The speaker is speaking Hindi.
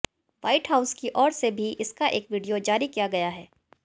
व्हाइट हाउस की ओर से भी इसका एक वीडियो जारी किया गया है